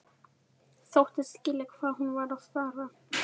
Þóttist skilja hvað hún var að fara.